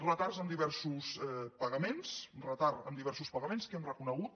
retards en diversos pagaments retard en diversos pa·gaments que hem reconegut